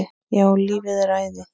Já, lífið er æði.